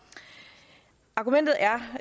argumentet er